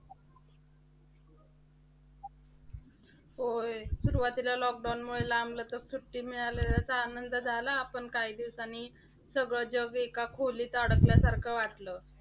होय. सुरुवातीला lockdown मुळे लांबलचक सुट्टी मिळालेल्याचा आनंद झाला, पण काही दिवसांन सगळं जग एका खोलीत अडकल्यासारखं वाटलं.